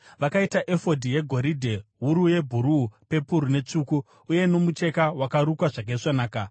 Vakaita efodhi yegoridhe, wuru yebhuruu, pepuru netsvuku, uye nomucheka wakarukwa zvakaisvonaka.